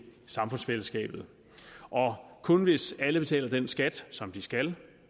samfundsfællesskabet kun hvis alle betaler den skat som de skal